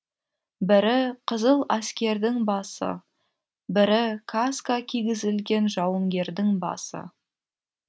бірі қызыл әскердің басы бірі каска кигізілген жауынгердің басы